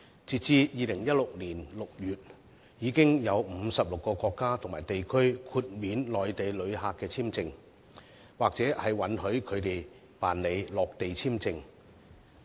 截至2016年6月，已有56個國家和地區豁免內地旅客簽證，或允許他們辦理落地簽證。